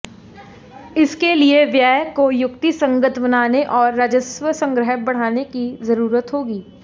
इसके लिए व्यय को युक्तिसंगत बनाने और राजस्व संग्रह बढ़ाने की जरूरत होगी